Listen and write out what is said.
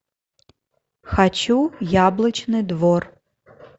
хочу яблочный двор